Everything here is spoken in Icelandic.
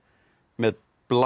með